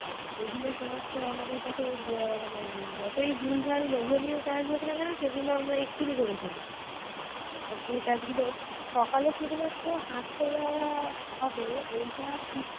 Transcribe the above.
আর যেগুলো সমস্ত আমাদের কাছে মানে যতই ভুলভাল লোভনীয় কাজ হোক না কেন সেগুলো আমরা এক্ষুনি করে ফেলি। আর যে কাজ গুলো সকালে শুধু মাত্র হাঁটতে যাওয়া হবে এইটা ঠিক